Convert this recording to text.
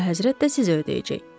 Əlahəzrət də sizə ödəyəcək.